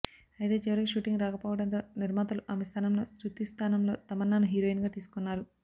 అయితే చివరికి షూటింగ్ రాకపోవడంతో నిర్మాతలు ఆమె స్థానంలో శృతి స్థానంలో తమన్నాను హీరోయిన్ గా తీసుకున్నారు